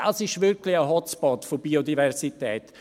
Dies ist wirklich ein Hotspot der Biodiversität.